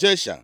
Jesha.